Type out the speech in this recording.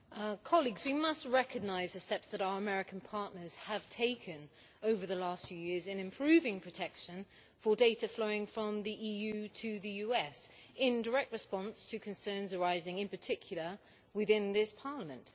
Mr President, we must recognise the steps that our American partners have taken over the last few years in improving protection for data flowing from the EU to the US in direct response to concerns arising, in particular within this Parliament.